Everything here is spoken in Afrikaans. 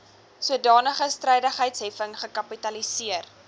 sodanige strydigheidsheffing gekapitaliseer